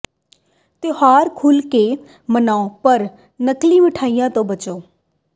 ਤਿਉਹਾਰ ਖੁਲ੍ਹ ਕੇ ਮਨਾਉ ਪਰ ਨਕਲੀ ਮਿਠਾਈਆਂ ਤੋਂ ਬਚੋ